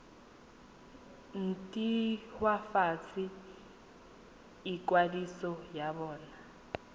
nt hwafatse ikwadiso ya bona